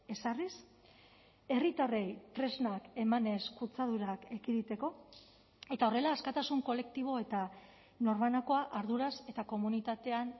ezarriz herritarrei tresnak emanez kutsadurak ekiditeko eta horrela askatasun kolektibo eta norbanakoa arduraz eta komunitatean